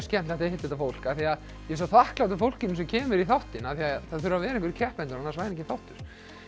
skemmtilegt að hitta þetta fólk af því að ég er svo þakklátur fólkinu sem kemur í þáttinn því það þurfa að vera einhverjir keppendur annars væri enginn þáttur